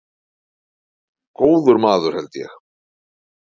Góður maður held ég.